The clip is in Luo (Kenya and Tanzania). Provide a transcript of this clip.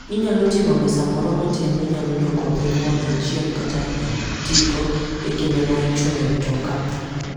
Inyalo ting'o mesa moro matin minyalo duoko piny mondo ichiem kata itigo e kinde ma ichung' e mtoka.